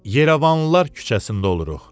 Yerəvanlılar küçəsində oluruq.